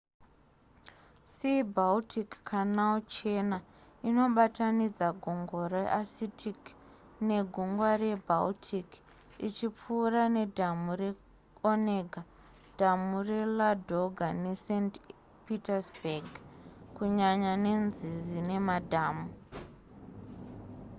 sea-baltic canal chena inobatanidza gungwa rearcitic negungwa rebaltic ichipfuura ne dhamu re onega dhamu reladoga ne saint petersburg kunyanya nenzizi nemadhamu